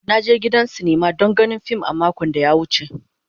Na je gidan sinima don ganin fim a makon da ya wuce.